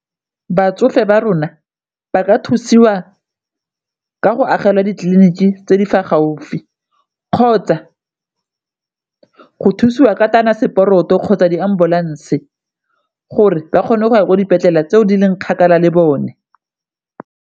Batsofe ba rona ba ka thusiwa ka go agelwa ditleliniki tse di fa gaufi, kgotsa go thusiwa ka kgotsa di-ambulance gore ba kgone go ya kwa dipetlele tseo di leng kgakala le bone.